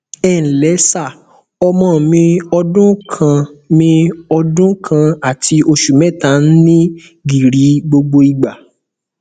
ẹ ǹlẹ sà ọmọ mi ọdún kan mi ọdún kan àti oṣù mẹta ń ní gìrì gbogbo ìgbà